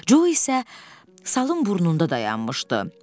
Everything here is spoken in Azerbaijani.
Co isə salın burnunda dayanmışdı.